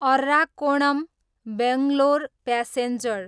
Arakkonam, Bangalore passenger